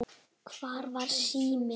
Hvar var síminn?